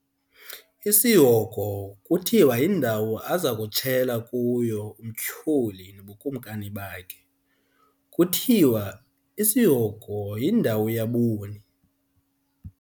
Isihogo kuthiwa yindawo aza kutshela kuyo uMtyholi nobukumkani bakhe. kuthiwa isihogo yindawo yaboni